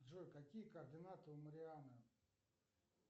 джой какие координаты у мариана